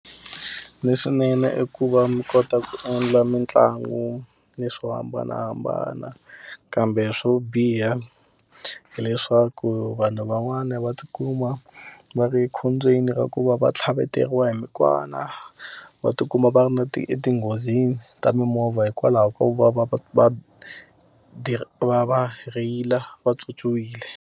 Leswinene i ku va mi kota ku endla mitlangu ni swo hambanahambana. Kambe swo biha hileswaku vanhu van'wana va ti kuma ni va ri ekhombyeni ra ku va va tlhaveteriwa hi mikwana, va ti kuma va ri na ti etinghozini ta mimovha hikwalaho ko va va va va va va rheyila pyopyiwile.